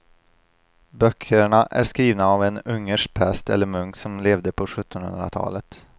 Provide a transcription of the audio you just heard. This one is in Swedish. Böckerna är skrivna av en ungersk präst eller munk som levde på sjuttonhundratalet.